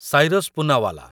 Cyrus Poonawalla